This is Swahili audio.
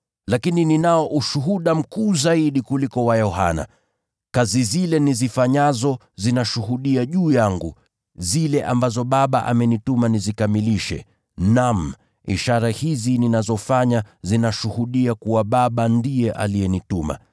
“Lakini ninao ushuhuda mkuu zaidi kuliko wa Yohana. Kazi zile nizifanyazo, zinashuhudia juu yangu, zile ambazo Baba amenituma nizikamilishe, naam, ishara hizi ninazofanya, zinashuhudia kuwa Baba ndiye alinituma.